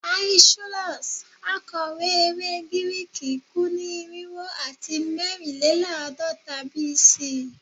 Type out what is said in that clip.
Aeschylus, akọwe ere Giriki, ku ni irinwo ati mẹrinlelaadọta BC